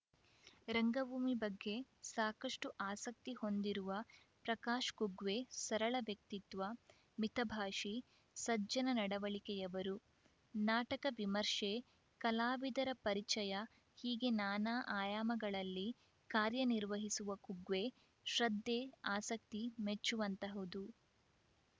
ರಂಗಭೂಮಿ ಬಗ್ಗೆ ಸಾಕಷ್ಟುಆಸಕ್ತಿ ಹೊಂದಿರುವ ಪ್ರಕಾಶ ಕುಗ್ವೆ ಸರಳ ವ್ಯಕ್ತಿತ್ವ ಮಿತಭಾಷಿ ಸಜ್ಜನ ನಡವಳಿಕೆಯವರು ನಾಟಕ ವಿಮರ್ಶೆ ಕಲಾವಿದರ ಪರಿಚಯ ಹೀಗೆ ನಾನಾ ಆಯಾಮಗಳಲ್ಲಿ ಕಾರ್ಯ ನಿರ್ವಹಿಸುವ ಕುಗ್ವೆ ಶ್ರದ್ಧೆ ಆಸಕ್ತಿ ಮೆಚ್ಚುವಂತಹುದು